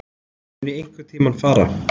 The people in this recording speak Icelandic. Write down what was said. Mun ég einhverntímann fara?